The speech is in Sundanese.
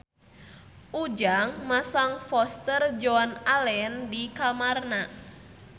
Ujang masang poster Joan Allen di kamarna